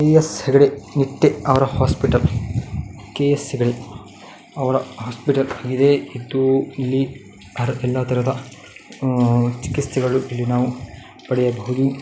K. S Hegde Nitte ಅವರ hospital K. S Hegde ಅವರ hospital ಇದೆ. ಇದ್ದು ಇಲ್ಲಿ ಅಹ್ ಎಲ್ಲಾ ತರಹದ ಚಿಕಿತ್ಸೆಗಳು ಇಲ್ಲಿ ನಾವು ಪಡೆಯಬಹುದು --